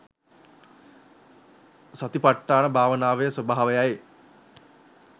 සතිපට්ඨාන භාවනාවේ ස්වභාවයයි.